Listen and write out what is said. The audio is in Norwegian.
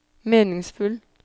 meningsfull